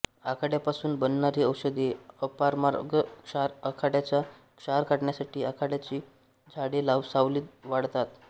आघाड्यापासून बनणारी औषधे अपामार्गक्षार आघाड्याचा क्षार काढण्यासाठी आघाड्याची झाडे सावलीत वाळतात